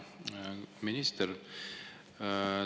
Hea minister!